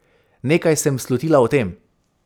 Nekaj sem slutila o tem.